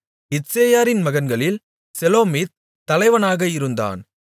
இத்சேயாரின் மகன்களில் செலோமித் தலைவனாக இருந்தான்